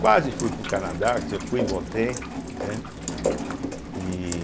Quase fui para o Canadá, quer dizer, eu fui e voltei, entende? e